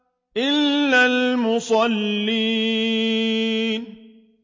إِلَّا الْمُصَلِّينَ